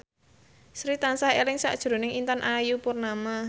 Sri tansah eling sakjroning Intan Ayu Purnama